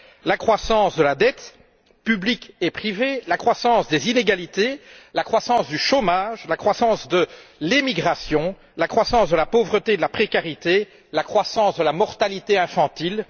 La croissance de la dette, publique et privée, la croissance des inégalités, la croissance du chômage, la croissance de l'émigration, la croissance de la pauvreté et de la précarité, la croissance de la mortalité infantile.